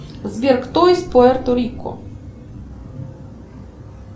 сбер кто из пуэрто рико